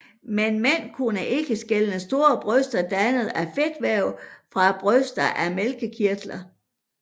Men mænd kunne ikke skelne store bryster dannet af fedtvæv fra bryster af mælkekirtler